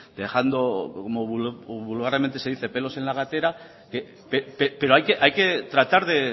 dejando como vulgarmente se dice pelos en la gatera pero hay que tratar de